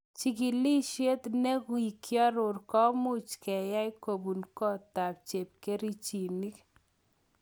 Chikilisiet nekokioror komuch keyai kobun kotab chepkerichinik.